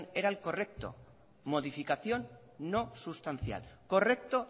era el correcto modificación no sustancial correcto